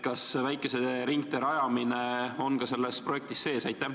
Kas väikese ringtee rajamine on samuti selles projektis kirjas?